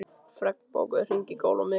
Fregn, bókaðu hring í golf á miðvikudaginn.